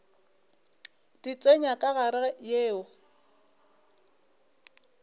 di tsenya ka gare yeo